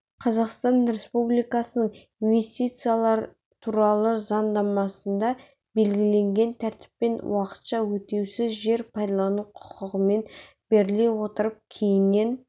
қазақстан республикасының инвестициялар туралы заңнамасында белгіленген тәртіппен уақытша өтеусіз жер пайдалану құқығымен беріле отырып кейіннен